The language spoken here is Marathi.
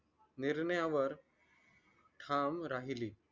निर्णयावर ठाम राहिली